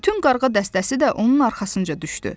Bütün qarğa dəstəsi də onun arxasınca düşdü.